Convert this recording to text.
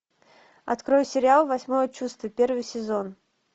открой сериал восьмое чувство первый сезон